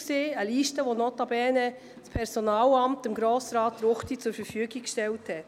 Diese Liste wurde Grossrat Ruchti durch das Personalamt zur Verfügung gestellt.